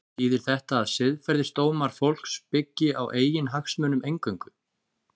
Þýðir þetta að siðferðisdómar fólks byggi á eiginhagsmunum eingöngu?